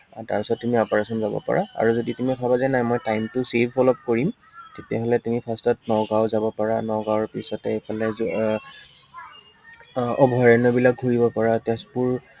তাৰ পিছত তুমি Upper Assam যাব পাৰা। আৰু যদি তুমি ভাবা যে নাই মই time টো save অলপ কৰিম, তেতিয়া হলে তুমি first ত নগাওঁ যাব পাৰা, নগাওঁৰ পিছতে ইফালে আহ আভয়াৰণ্য় বিলাক ঘূৰিব পাৰা বা তেজপুৰ